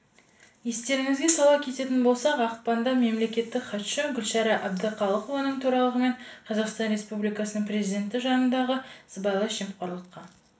естеріңізге сала кететін болсақ ақпанда мемлекеттік хатшы гүлшара әбдіқалықованың төрағалығымен қазақстан республикасының президенті жанындағы сыбайлас жемқорлыққа